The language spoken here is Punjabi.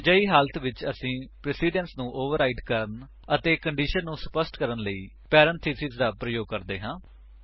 ਅਜਿਹੀ ਹਾਲਤ ਵਿੱਚ ਅਸੀ ਪ੍ਰੇਸਿਡੰਸ ਨੂੰ ਓਵਰਰਾਈਟ ਕਰਨ ਅਤੇ ਕੰਡੀਸ਼ਨ ਨੂੰ ਸਪੱਸ਼ਟ ਕਰਨ ਲਈ ਪੇਰੇਨਥੇਸਿਸ ਦਾ ਪ੍ਰਯੋਗ ਕਰਦੇ ਹਾਂ